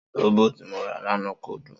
Sóbò tí mo rà lanaa kò dùn